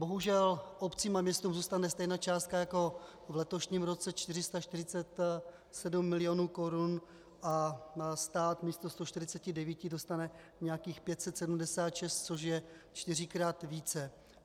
Bohužel obcím a městům zůstane stejná částka jako v letošním roce 447 milionů korun a stát místo 149 dostane nějakých 576, což je čtyřikrát více.